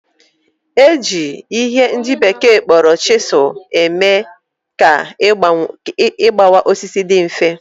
Eji ihe ndị bekee kpọrọ chisel eme ka igbawa osisi dị mfe